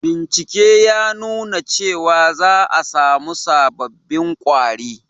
Bincike ya nuna cewa za a samu sabobbin kwari